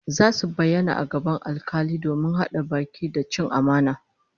Zasu bayyana a gaban alkali domin hada baki da cin amana